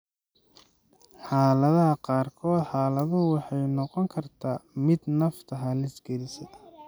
Xaaladaha qaarkood, xaaladdu waxay noqon kartaa mid nafta halis gelisa.